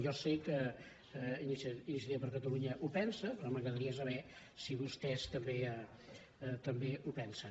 jo sé que iniciativa per catalunya ho pensa però m’agradaria saber si vostès també ho pensen